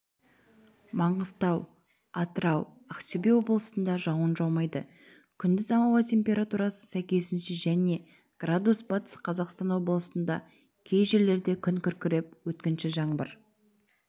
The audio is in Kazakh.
маңғыстау атырау ақтөбе облысында жауын жаумайды күндіз ауа температурасы сәйкесінше және градус батыс қазақастан облысында кей жерлерде күн күркіреп өткінші жаңбыр